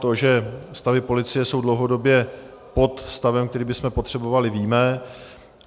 To, že stavy policie jsou dlouhodobě pod stavem, který bychom potřebovali, víme.